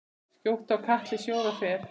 Skjótt á katli sjóða fer.